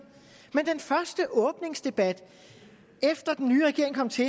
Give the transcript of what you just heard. men under den første åbningsdebat efter den nye regering kom til